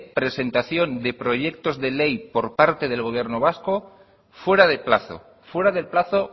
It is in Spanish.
presentación de proyectos de ley por parte del gobierno vasco fuera de plazo fuera del plazo